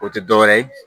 O tɛ dɔwɛrɛ ye